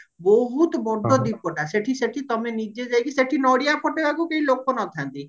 ବହୁତ ବଡ ଦୀପଟା ସେହତି ସେଠି ତମେ ନିଜେ ଯାଇକି ସେଠି ନଡିଆ ଫଟେଇବାକୁ କେହି ଲୋକ ନଥାନ୍ତି